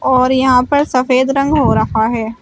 और यहां पर सफेद रंग हो रखा है।